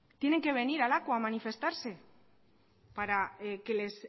tienen que venir lakua a manifestarse para que les